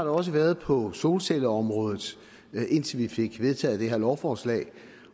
også været på solcelleområdet indtil vi fik vedtaget det her lovforslag